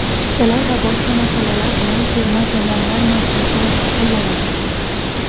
Chiptalar va boshqa masalalar bilan Terma jamoalar markazi shug‘ullanadi.